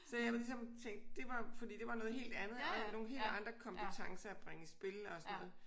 Så jeg var ligesom tænkt det var fordi det var noget helt andet og nogle helt andre kompetencer at bringe i spil og sådan noget